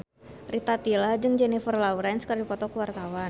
Rita Tila jeung Jennifer Lawrence keur dipoto ku wartawan